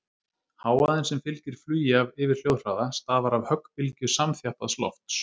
Hávaðinn sem fylgir flugi yfir hljóðhraða stafar af höggbylgju samþjappaðs lofts.